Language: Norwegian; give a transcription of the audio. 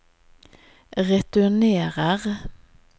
returnerer